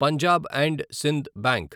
Punjab and Sind bank